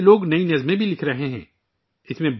بہت سے لوگ نئی نظمیں بھی لکھ رہے ہیں